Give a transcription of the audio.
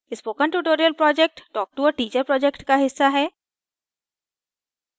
spoken tutorial project talktoa teacher project का हिस्सा है